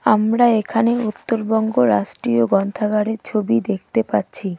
আমরা এখানে উত্তরবঙ্গ রাষ্ট্রীয় গ্রন্থাগারের ছবি দেখতে পাচ্ছি.